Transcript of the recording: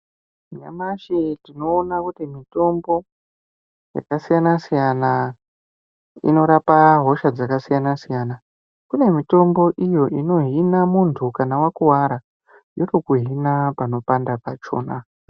Nyamashi tinoona kuti mutombo yakasiyana siyana inorapa hosha dzakasiyana siyana kune mutombo unohina mundu kana wakuwara yotokuhina panopanda pachona